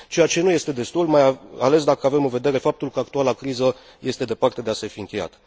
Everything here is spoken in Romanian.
Ceea ce nu este destul, mai ales dacă avem în vedere faptul că actuala criză este departe de a se fi încheiat.